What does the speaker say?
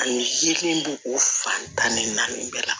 Ani min b'o o fan tan ni naani bɛɛ la